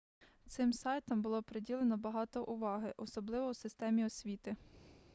цим сайтам було приділено багато уваги особливо у системі освіти